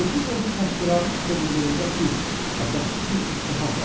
Yefimovun təhqiramiz kobudluğunda pis, əsassız bir ittiham vardır.